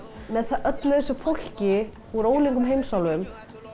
með öllu þessu fólki úr ólíkum heimsálfum